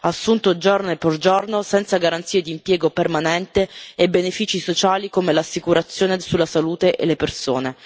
assunte giorno per giorno senza garanzie di impiego permanente e benefici sociali come l'assicurazione sulla salute e le persone.